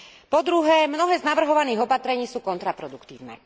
Po druhé, mnohé z navrhovaných opatrení sú kontraproduktívne.